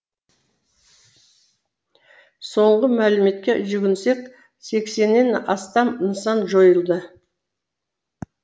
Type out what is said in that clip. соңғы мәліметке жүгінсек сексеннен астам нысан жойылды